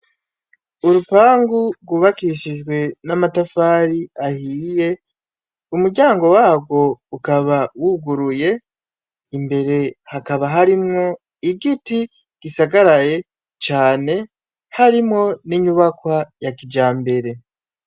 Urupangu gwubakishije n' amatafari ahiye, umuryango wagwo ukaba wuguruye imbere hakaba harimwo igiti gisagaraye cane harimwo n' inyubakwa ya kijambere.